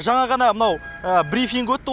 жаңа ғана мынау брифинг өтті